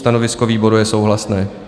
Stanovisko výboru je souhlasné.